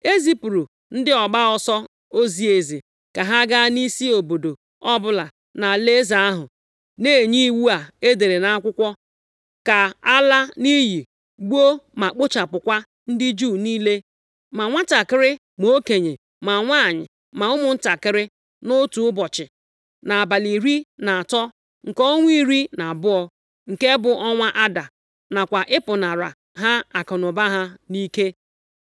E zipụrụ ndị ọgba ọsọ ozi eze ka ha gaa nʼisi obodo ọbụla nʼalaeze ahụ, na-enye iwu a edere nʼakwụkwọ ka a laa nʼiyi, gbuo, ma kpochapụkwa ndị Juu niile, ma nwantakịrị ma okenye, ma nwanyị, ma ụmụntakịrị, nʼotu ụbọchị, nʼabalị iri na atọ nke ọnwa iri na abụọ, nke bụ ọnwa Aada, nakwa ịpụnara ha akụnụba ha nʼike.